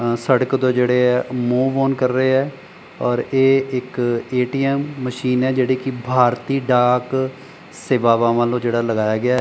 ਸੜਕ ਤੋਂ ਜਿਹੜੇ ਆ ਮੂਵ ਓਨ ਕਰ ਰਹੇ ਆ ਔਰ ਇਹ ਇੱਕ ਏ_ਟੀ_ਐਮ ਮਸ਼ੀਨ ਆ ਜਿਹੜੀ ਕਿ ਭਾਰਤੀ ਡਾਕ ਸੇਵਾਵਾਂ ਵੱਲੋਂ ਜਿਹੜਾ ਲਗਾਇਆ ਗਿਆ--